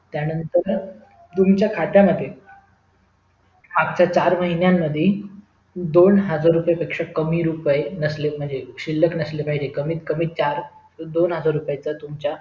त्यानंतर तुमच्या खात्या मध्ये मागच्या चार महिन्या मध्ये दोन हजार रुपय पेक्षा कमी रुपय शिल्लक नसले पाहिजे कमीत कमी चार दोन हजार तर तुमच्या